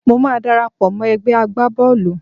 Mo máa darapọ̀ mọ́ ẹ̀gbẹ́ agbá Bọ́ọ̀lù.